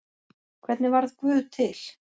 Hvernig varð guð til?